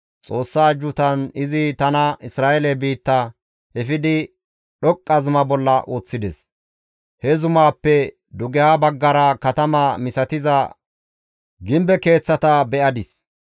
Xoossa ajjuutan izi tana Isra7eele biitta efidi dhoqqa zuma bolla woththides; he zumaappe dugeha baggara katama misatiza gimbe keeththata be7adis.